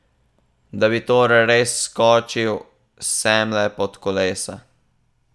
Da bi torej res skočil semle pod kolesa?